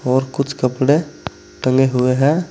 और कुछ कपड़े टंगे हुए है।